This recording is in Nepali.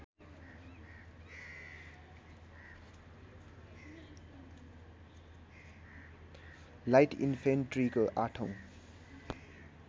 लाइट इनफेन्ट्रीको आठौँ